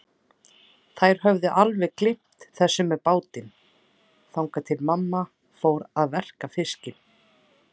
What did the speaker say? Þær höfðu alveg gleymt þessu með bátinn, þangað til mamma fór að verka fiskinn.